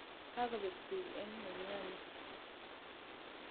Kakobek beek eng nemioni